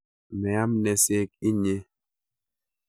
Meam neseek inyee